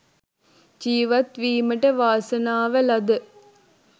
ජීවත්වීමට වාසනාව ලද